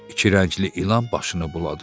İki rəngli ilan başını buladı.